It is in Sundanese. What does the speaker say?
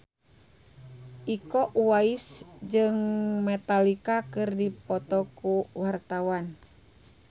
Iko Uwais jeung Metallica keur dipoto ku wartawan